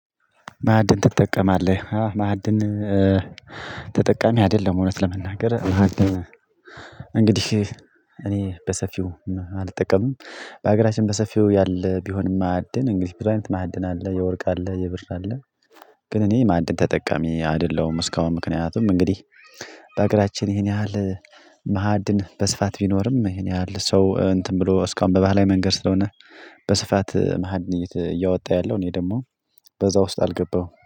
ማዕድን ትጠቀማለህ? አ ማዕድን ተጠቃሚ አይደለሁም እውነት ለመናገር ማዕድን እንግዲህ እኔ በሰፊው አልጠቀምም። በአገራችን በሰፊው ያለ ቢሆንም ማዕድን እንግዲህ ብዙ አይነት ማዕድን አለ የወርቅ አለ የብር አለ። ግን እኔ ማዕድን ተጠቃሚ አይደለሁም። እስካሁን ምክንያቱም እንግዲህ በሀገራችን ይሄን ያህል ማዕድን በስፋት ቢኖርም ይሄን ያህል ሰው እንትን ብሎ እስካሁን በባህላዊ መንገድ ስለሆነ በስፋት ማዕድን እያወጣ ያለው እኔ ደግሞ በዛ ውስጥ አልገባውም